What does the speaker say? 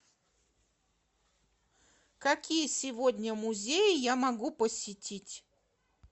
какие сегодня музеи я могу посетить